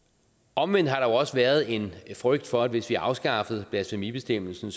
omvendt har der jo også været en frygt for at hvis vi afskaffede blasfemibestemmelsen